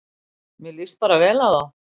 Mér líst bara vel á þá